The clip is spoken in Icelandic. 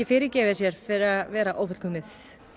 fyrirgefi sér fyrir að vera ófullkomið